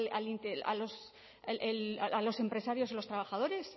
a los empresarios y los trabajadores